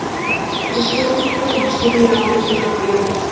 Þessa spurningu má skilja á mismunandi vegu.